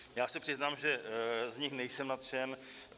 Já se přiznám, že z nich nejsem nadšen.